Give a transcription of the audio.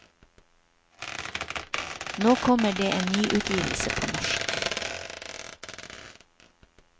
Nå kommer det en nyutgivelse på norsk.